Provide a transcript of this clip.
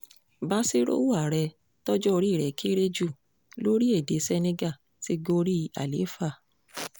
bassirou ààrẹ tọ́jọ́ orí rẹ̀ kéré jù lórílẹ̀‐èdè senegal ti gorí àlééfà